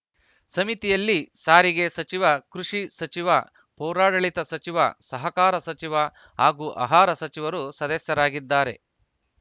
ಸಮಿತಿಯಲ್ಲಿ ಸಾರಿಗೆ ಸಚಿವ ಕೃಷಿ ಸಚಿವ ಪೌರಾಡಳಿತ ಸಚಿವ ಸಹಕಾರ ಸಚಿವ ಹಾಗೂ ಅಹಾರ ಸಚಿವರು ಸದಸ್ಯರಾಗಿದ್ದಾರೆ